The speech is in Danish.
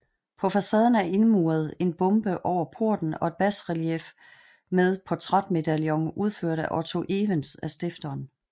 På facaden er indmuret en bombe over porten og et basrelief med portrætmedaljon udført af Otto Evens af stifteren